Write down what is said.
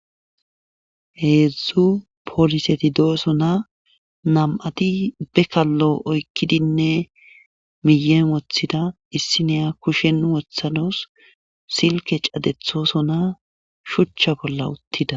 heedzdzu pooliseti dooso na nam7ati bekallo oykkidinne miyeen wothida issi neya kushennu wothanos silke cadethoso na shuchcha bolla uttida